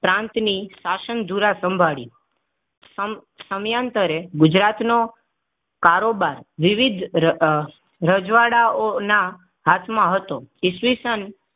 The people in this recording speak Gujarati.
પ્રાંતની શાસન ઝુરા સંભાળી સમ સમ્યાન્તરે ગુજરાત નો કારોબાર વિવિધ અ અ રજવાડાઓના હાથમાં હતો ઈસવીસન પ્રાંતની શાસન ઝુરા સંભાળી